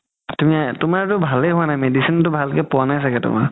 তুমাৰতো ভালে হুৱা নাই medicine তো ভালকে পোৱা নাই ছাগে তুমাৰ